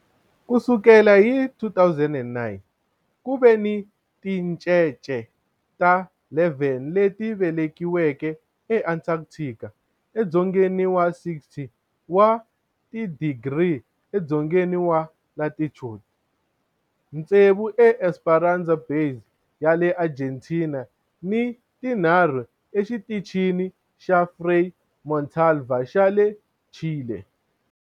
Ku sukela hi 2009, ku ve ni tincece ta 11 leti velekiweke eAntarctica, edzongeni wa 60 wa tidigri edzongeni wa latitude, tsevu eEsperanza Base ya le Argentina ni tinharhu eXitichini xa Frei Montalva xa le Chile.